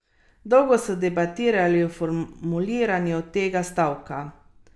Ko se gledalci pomirimo, performerka stopi na peščeni Triglav in izklicuje državotvorni manifest.